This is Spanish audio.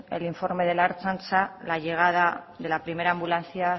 el informe de la ertzaintza la llegada de la primera ambulancia